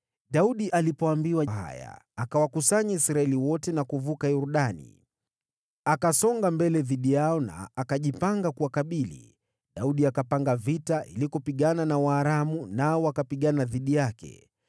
Daudi alipoambiwa haya, akawakusanya Israeli wote na kuvuka Yordani. Akasonga mbele dhidi yao na akajipanga kuwakabili. Daudi akapanga vita ili kupigana na Waaramu, nao wakapigana dhidi yake.